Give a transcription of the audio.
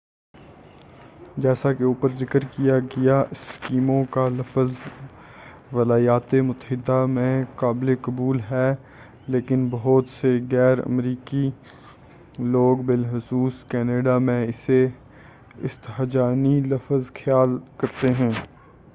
جیسا کہ اوپر ذکر کیا گیا اسکیمو کا لفظ ولایاتِ متحدہ میں قابلِ قبول ہے لیکن بہت سے غیر امریکی لوگ بالخصوص کنیڈا میں اسے استہجانی لفظ خیال کرتے ہیں